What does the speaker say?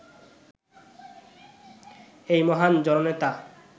এই মহান জননেতা